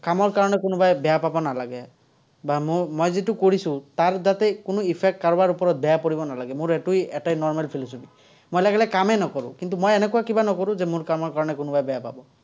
কামৰ কাৰণে কোনোবাই বেয়া পাব নালাগে। বা মই যিটো কৰিছো, তাৰ যাতে কোনো effect কাৰোবাৰ ওপৰত বেয়া পৰিব নালাগে, মোৰ এইটোৱেই এটাই normal philosophy, মই লাগিলে কামেই নকৰো, কিন্তু, মই এনেকুৱা কিবা নকৰো যে মোৰ কামৰ কাৰণে কোনোবাই বেয়া পাব।